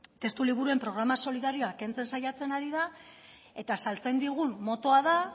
testuliburuen programa solidarioa kentzen saiatzen ari da eta saltzen digun motoa da